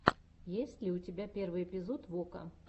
есть ли у тебя первый эпизод вока